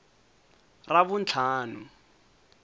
ravuntlhanu